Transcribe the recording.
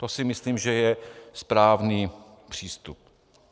To si myslím, že je správný přístup.